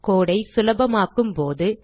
code ஐ சுலபமாக்கும்போது